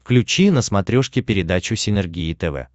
включи на смотрешке передачу синергия тв